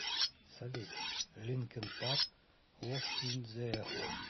салют линкин парк лост ин зе эхо